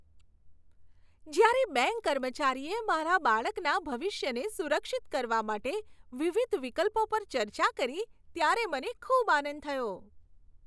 જ્યારે બેંક કર્મચારીએ મારા બાળકના ભવિષ્યને સુરક્ષિત કરવા માટે વિવિધ વિકલ્પો પર ચર્ચા કરી ત્યારે મને ખૂબ આનંદ થયો.